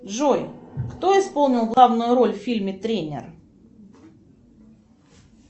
джой кто исполнил главную роль в фильме тренер